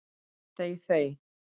Þey þey!